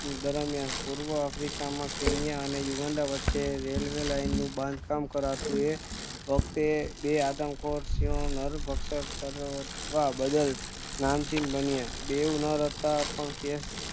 દરમ્યાન પૂર્વ Africa Kenya અને Uganda વચ્ચે railway line નું બાંધકામ કરતુ એ વખતે બે આદમખોર સિંહો નરભક્ષ કરવા બદલ નામચીન બન્યા બેવ નર હતા પણ કેસ